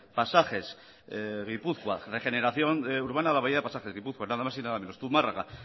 regeneración urbana a la bahía de pasajes gipuzkoa nada más y nada menos zumarraga